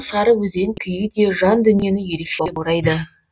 сары өзен күйі де жан дүниені ерекше баурайды